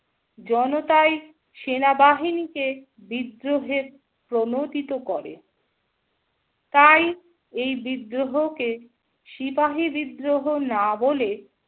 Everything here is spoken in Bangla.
জনতাই সেনাবাহিনীতে বিদ্রোহের প্রণতিত করে। তাই এই বিদ্রোহকে সিপাহী বিদ্রোহ না বলে